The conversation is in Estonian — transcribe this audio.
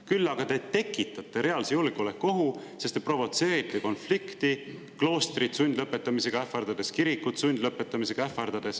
Küll aga te tekitate reaalse julgeolekuohu, sest te provotseerite konflikti, ähvardades kloostrit sundlõpetamisega, ähvardades kirikut sundlõpetamisega.